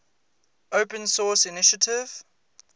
open source initiative